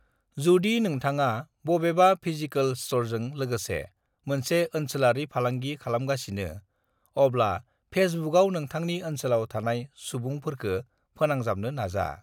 """जुदि नोंथांआ बबेबा फिजिकल स्टोरजों लोगोसे मोनसे ओनसोलारि फालांगि खालामगासिनो, अब्ला फेसबुकआव नोंथांनि ओनसोलाव थानाय सुबुंफोरखो 'फोनांजाबनो"""" नाजा।"""